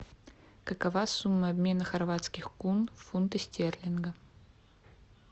какова сумма обмена хорватских кун в фунты стерлингов